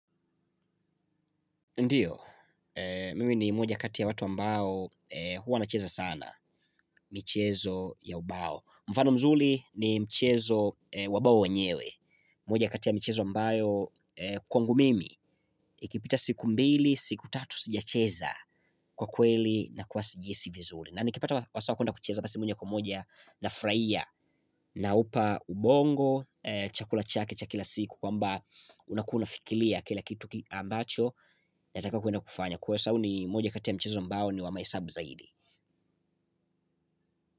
Ndiyo, mimi ni moja kati ya watu ambao huwa nacheza sana michezo ya ubao. Mfano mzuri ni mchezo wa ubao wenyewe. Moja kati ya michezo ambayo kwangu mimi ikipita siku mbili siku tatu sijacheza kwa kweli nakuwa sijihisi vizuri. Na nikipata wasaa wa kwenda kucheza basi moja kwa moja nafurahia naupa ubongo chakula chake cha kila siku kwamba unakuwa unafikiria kila kitu ambacho yataka kwenda kufanya kwa sababu ni moja kati ya michezo ambao ni wa mahesabu zaidi.